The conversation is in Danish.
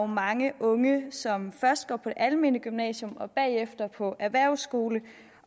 mange unge som først går på det almene gymnasium og bagefter på erhvervsskole